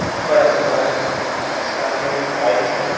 ऊपर आसमान है सामने एक बाइक है।